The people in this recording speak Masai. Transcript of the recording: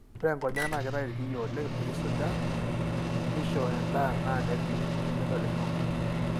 ore inkonyek na kitayu ilkiyo oleng peisuja. nisho endaa na nerip enedolisho.